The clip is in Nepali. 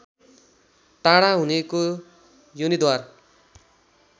टाढा हुनेको योनिद्वार